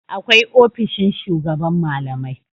Akwai ofishin shugaban malamai.